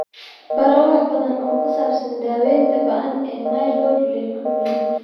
Baro wax badan oo ku saabsan daawaynta ba'an ee myeloid leukemia.